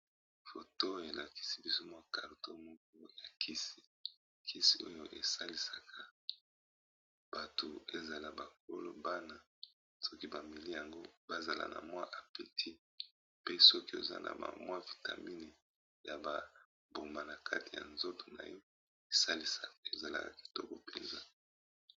foto elakisi bizo mwa carto moku ya kisi oyo esalisaka bato ezala bakolobana soki bamiliyango bazala na mwa apeti pe soki oza na mwa vitamine ya babombana kati ya nzoto na yo ezalaka kitoko mpenza